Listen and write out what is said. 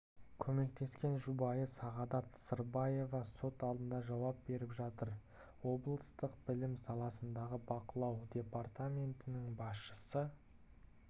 көмектескен жұбайы сағадат сырбаева сот алдында жауап беріп жатыр облыстық білім саласындағы бақылау департаментінің басшысы